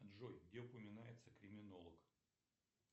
джой где упоминается криминолог